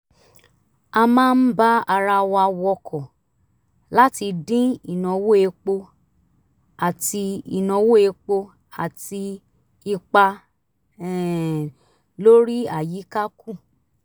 a máa ń bá ara wa wọkọ̀ láti dín ìnáwó epo àti ìnáwó epo àti ipa um lórí àyíká kù